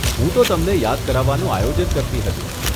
હું તો તમને યાદ કરાવવાનું આયોજન કરતી હતી.